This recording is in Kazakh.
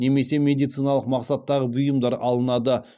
немесе медициналық мақсаттағы бұйымдар алынады